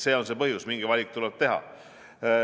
See on see põhjus, mingi valik tuleb teha.